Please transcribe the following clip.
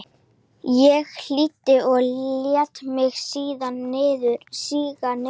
Ég hlýddi og lét mig síga niður á rúmið.